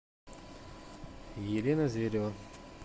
елена зверева